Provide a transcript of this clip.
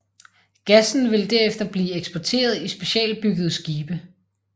Gassen vil derefter blive eksporteret i specialbyggede skibe